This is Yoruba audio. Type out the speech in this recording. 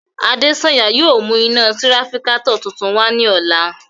Adesanya yóò mu ina tirafikatọ tuntun wa ni ọla